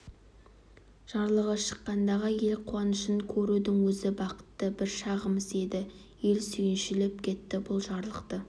жарлығы шыққандағы ел қуанышын көрудің өзі бақытты бір шағымыз еді ел сүйіншілеп кетті бұл жарлықты